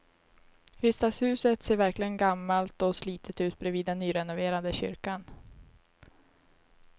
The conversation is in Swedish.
Riksdagshuset ser verkligen gammalt och slitet ut bredvid den nyrenoverade kyrkan.